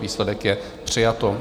Výsledek je: přijato.